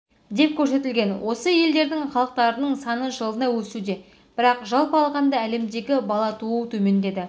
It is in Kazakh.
деп көрсетілген осы елдердің халықтарының саны жылына өсуде бірақ жалпы алғанда әлемдегі бала туу төмендеді